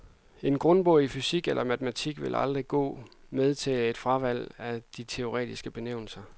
En grundbog i fysik eller matematik ville aldrig gå med til et fravalg af teoretiske benævelser.